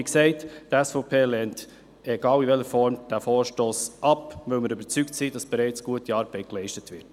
Wie gesagt: Die SVP lehnt, egal in welcher Form, diesen Vorstoss ab, weil wir überzeugt sind, dass bereits gute Arbeit geleistet wird.